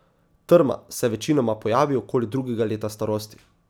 Trma se večinoma pojavi okoli drugega leta starosti.